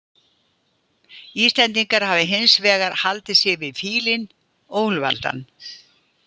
Íslendingar hafa hins vegar haldið sig við fílinn og úlfaldann.